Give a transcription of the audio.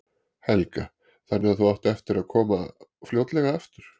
Helga: Þannig að þú átt eftir að koma fljótlega aftur?